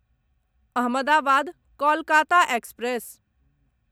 Ahmedabad Kolkata express